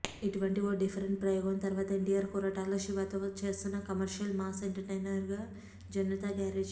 ఇటువంటి ఓ డిఫరెంట్ ప్రయోగం తర్వాత ఎన్టీఆర్ కొరటాల శివతో చేస్తున్న commercial mass entertainer Janatha garage